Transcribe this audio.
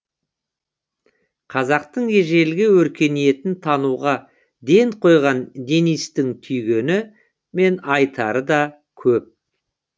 қазақтың ежелгі өркениетін тануға ден қойған дэнистің түйгені мен айтары да көп